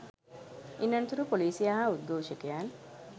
ඉන් අනතුරව පොලිසිය හා උද්ගෝෂකයන්